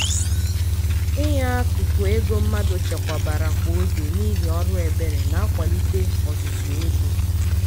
inye akụkụ ego mmadụ chekwabara kwa oge n'ihi ọrụ ebere na-akwalite ọzụzụ ego.